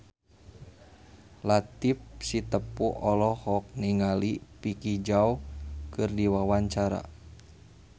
Latief Sitepu olohok ningali Vicki Zao keur diwawancara